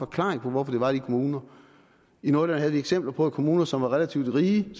klaring på hvorfor det var de kommuner i nordjylland havde de eksempler på at kommuner som var relativt rige